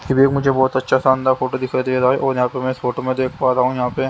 फिर एक मुझे एक बोहोत अच्छा शानदार फोटो दिखाई दे रहा है और यहां पे में इस फोटो में देख पा रहा हूं यहां पे--